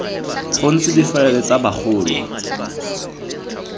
go ntse difaele tsa bagolo